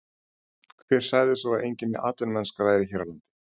Hver sagði svo að engin atvinnumennska væri hér á landi?